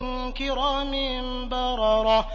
كِرَامٍ بَرَرَةٍ